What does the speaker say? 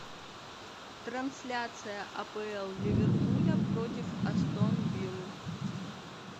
трансляция апл ливерпуля против астон виллы